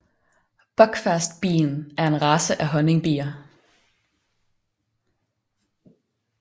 Buckfastbien er en race af honningbier